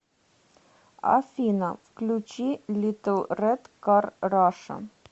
афина включи литл рэд кар раша